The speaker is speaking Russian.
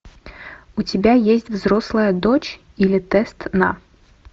у тебя есть взрослая дочь или тест на